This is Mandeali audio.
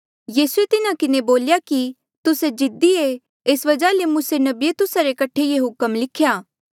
यीसूए तिन्हा किन्हें बोल्या कि तुस्से जिद्दी ऐें एस वजहा ले मूसे नबिये तुस्सा रे कठे ये हुक्म लिख्या